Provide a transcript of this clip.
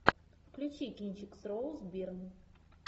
включи кинчик с роуз бирн